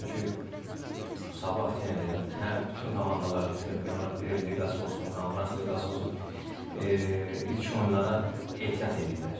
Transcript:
Çünki Sabah yenə deyirəm, hər bütün komandalar çempionat liqası olsun, konfrans liqası olsun, ilk oyunlara ehtiyat eləyirlər.